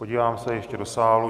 Podívám se ještě do sálu.